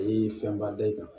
Ayi fɛnba da i kan